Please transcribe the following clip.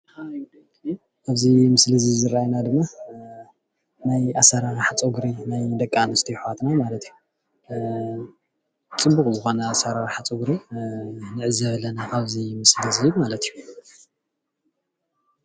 እዚ ምስሊ ዝረአየና ድማ ናይ ኣሰራርሓ ፀጉሪ ናይ ደቂ ኣንስትዮ ኣሕዋትና ማለት እዩ፡፡ ፅቡቅ ዝኮነ ኣሰራርሓ ፀጉሪ ንዕዘብ ኣለና ኣብዚ ምስሊ እዙይ ማለት እዩ፡፡